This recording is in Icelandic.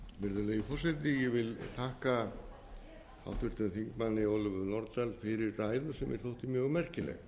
virðulegi forseti ég vil þakka háttvirtum þingmanni ólöfu nordal fyrir ræðu sem mér þótti mjög merkileg